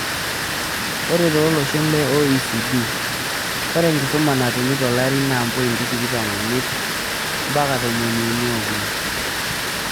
Ore too loshon le OECD, ore enkisuma natumi tolari naa 0.25 mpaka 0.33.